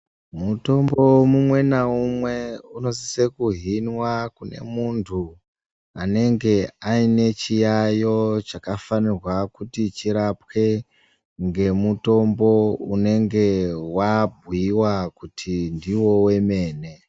Mutombo mumwe naumwe, unosise kuhinwa kune muntu, anenge aine chiyaiyo chakafanirwa kuti chirapwe, ngemutombo unenge wabhuiwa kuti ndiwo wemene.